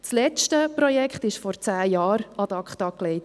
Das letzte Projekt wurde vor zehn Jahren ad acta gelegt.